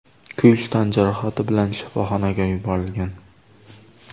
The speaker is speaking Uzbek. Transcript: kuyish tan jarohati bilan shifoxonaga yuborilgan.